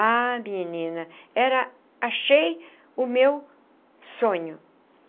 Ah, menina era, achei o meu sonho.